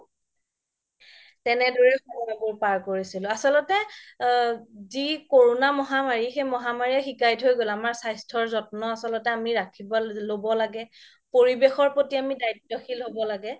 তেনেদৰে সময় বোৰ পাৰ কৰিছিলো আচল্তে যি কৰোনা মহামাৰী সেই মহামাৰীয়ে শিকাই থই গ'ল আমাৰ স্বাস্থ্য যত্ন্য ৰাখিব লাগে ল্'ব লাগে পৰিবেশৰ প্ৰতি আমি দায়িত্বশীল হ'ব লাগে